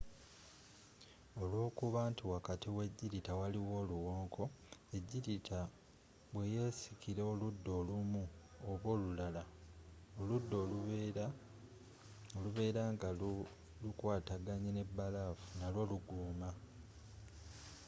olwokuba nti wakati we jirita waliwo oluwonko ejjirita bwe yesikira oludda olumu oba olulala, oludda oluberanga lu kwataganye ne balafu n’alwo lugoma